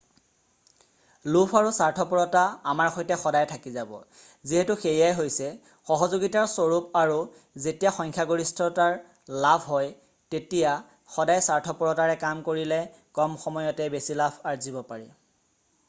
লোভ আৰু স্বাৰ্থপৰতা আমাৰ সৈতে সদায় থাকি যাব যিহেতু সেয়াই হৈছে সহযোগিতাৰ স্বৰূপ আৰু যেতিয়া সংখ্যাগৰিষ্ঠৰ লাভ হয় তেতিয়া সদায় স্বাৰ্থপৰতাৰে কাম কৰিলে কম সময়তে বেছি লাভ আৰ্জিব পাৰি